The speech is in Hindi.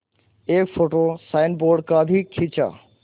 एक फ़ोटो साइनबोर्ड का भी खींचा